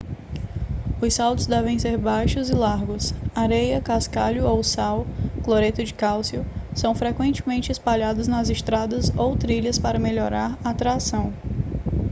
os saltos devem ser baixos e largos. areia cascalho ou sal cloreto de cálcio são frequentemente espalhados nas estradas ou trilhas para melhorar a tração